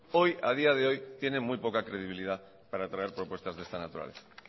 a día de hoy tienen muy poca credibilidad para traer propuestas de esta naturaleza